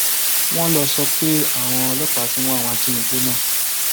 wọn lọ sọ pé àwọn ọlọpàá ti ń wá àwọn ajínigbé náà